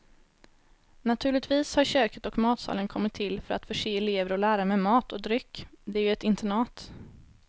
Naturligtvis har köket och matsalen kommit till för att förse elever och lärare med mat och dryck, det är ju ett internat.